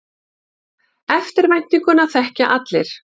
Eftirvæntinguna þekkja allir.